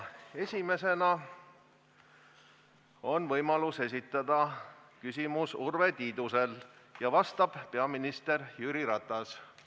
Esimesena on võimalus esitada küsimus Urve Tiidusel ja vastab peaminister Jüri Ratas.